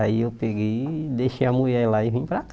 Aí eu peguei e deixei a mulher lá e vim para